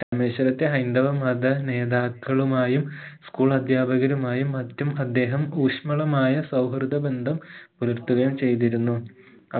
രാമേശ്വരത്തെ ഹൈന്ദവ മത നേതാക്കളുമായും school അധ്യാപകരുമായും മറ്റും അദ്ദേഹം ഊഷ്മളമായ സൗഹൃദബന്ധം പുലർത്തുകയും ചെയ്തിരുന്നു